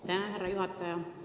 Aitäh, härra juhataja!